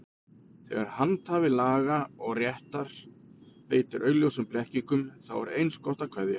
Þegar handhafi laga og réttar beitir augljósum blekkingum, þá er eins gott að kveðja.